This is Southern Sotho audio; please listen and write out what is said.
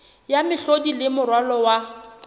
ya mehlodi le moralo wa